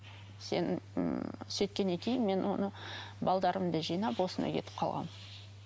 сен м сөйткеннен кейін мен оны жинап осында кетіп қалғанмын